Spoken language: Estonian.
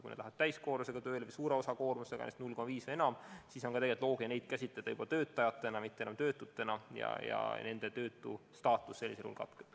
Kui nad lähevad tööle täiskoormusega või suure osalise koormusega – 0,5 või enam koormust –, siis on loogiline neid käsitada juba töötajatena, mitte enam töötutena, ja nende töötustaatus katkeb.